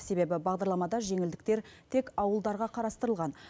себебі бағдарламада жеңілдіктер тек ауылдарға қарастырылған